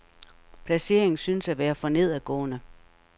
Placeringen synes at være for nedadgående.